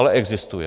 Ale existuje.